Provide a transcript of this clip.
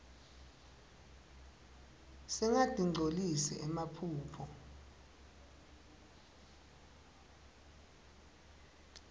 singatinqcolisi emaphaphu